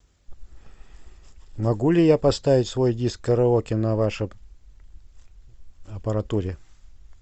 могу ли я поставить свой диск караоке на вашей аппаратуре